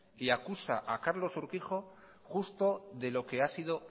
y acusa a carlos urquijo justo de lo que ha sido